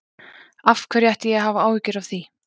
Af hverju ætti ég að hafa áhyggjur af því?